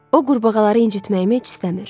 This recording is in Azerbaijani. O qurbağaları incitməyimi heç istəmir.